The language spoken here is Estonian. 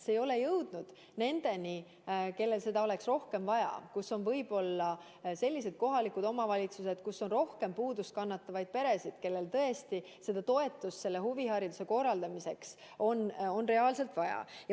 See ei ole jõudnud nendeni, kellel seda oleks rohkem vaja, selliste kohalike omavalitsusteni, kus on rohkem puudust kannatavaid peresid, kellel tõesti on reaalselt seda toetust huvihariduse korraldamiseks vaja.